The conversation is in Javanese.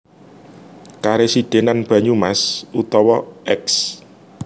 Karesidhenan Banyumas utawa Eks